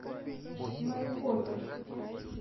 майкопе